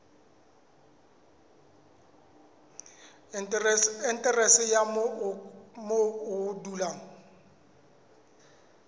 aterese ya moo o dulang